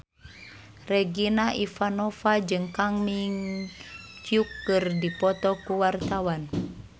Regina Ivanova jeung Kang Min Hyuk keur dipoto ku wartawan